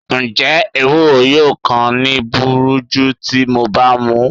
Njẹ ewuro yoo kan mi buruju ti MO ba mu?